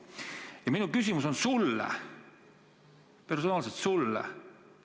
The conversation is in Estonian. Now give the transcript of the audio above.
Ja minu küsimus on personaalselt sulle.